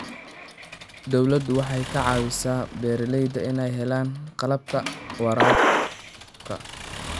Dawladdu waxay ka caawisaa beeralayda inay helaan qalabka waraabka.